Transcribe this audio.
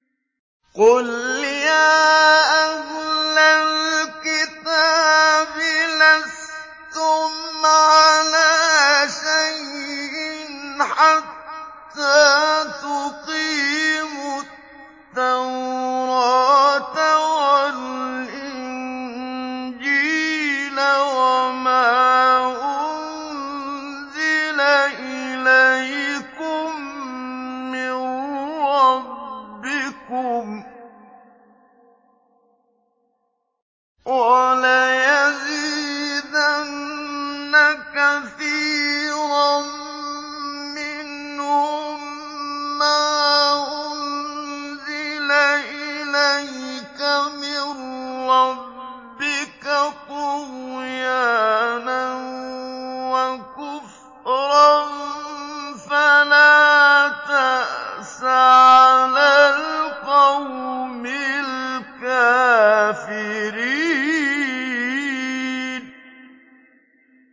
قُلْ يَا أَهْلَ الْكِتَابِ لَسْتُمْ عَلَىٰ شَيْءٍ حَتَّىٰ تُقِيمُوا التَّوْرَاةَ وَالْإِنجِيلَ وَمَا أُنزِلَ إِلَيْكُم مِّن رَّبِّكُمْ ۗ وَلَيَزِيدَنَّ كَثِيرًا مِّنْهُم مَّا أُنزِلَ إِلَيْكَ مِن رَّبِّكَ طُغْيَانًا وَكُفْرًا ۖ فَلَا تَأْسَ عَلَى الْقَوْمِ الْكَافِرِينَ